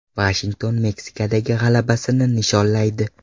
Vashington Meksikadagi g‘alabasini nishonlaydi.